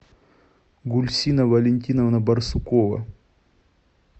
гульсина валентиновна барсукова